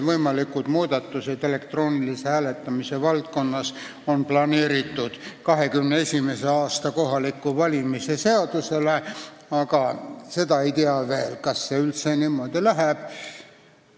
Võimalikud muudatused elektroonilise hääletamise valdkonnas on praegu planeeritud 2021. aastaks kohalikeks valimisteks, aga seda ei tea veel, kas see üldse niimoodi läheb.